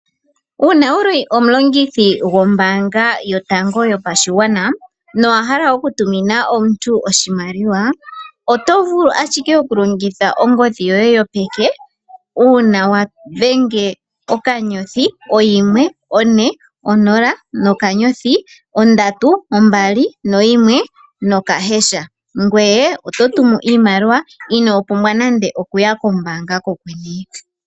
Uuna wuli omulongithi gwombanga yotango yopashigwana no wahala oku tumina omuntu oshimaliwa oto vulu ashike okulongitha ongodhi yoye yopeke uuna wa dhenge okanyothi oyimwe one onola nokanyothi ondatu ombali noyimwe nokahasha ngweye eto tumu iimaliwa ino pumbwa nande okuya kombanga kokwene.